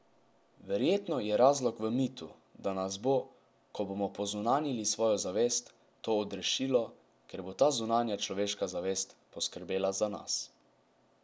Verjetno je razlog v mitu, da nas bo, ko bomo pozunanjili svojo zavest, to odrešilo, ker bo ta zunanja človeška zavest poskrbela za nas.